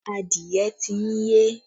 Adìẹ ti ń yé.